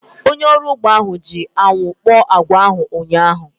Onye ọrụ ugbo ahu ji anwụ kpọọ agwa ahu ụnyaahụ